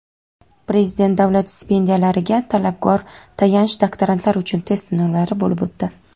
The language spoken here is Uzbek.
Prezident davlat stipendiyalariga talabgor tayanch doktorantlar uchun test sinovlari bo‘lib o‘tdi.